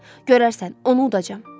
Görərsən, onu udacam.